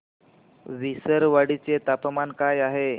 विसरवाडी चे तापमान काय आहे